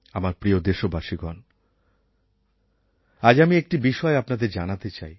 আমার প্রিয় দেশবাসীগণ আজ আমি একটি বিষয় আপনাদের জানাতে চাই